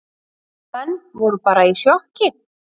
Menn voru bara í sjokki.